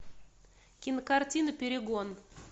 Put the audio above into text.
кинокартина перегон